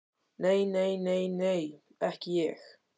Nei, nei, nei, nei, ekki ég.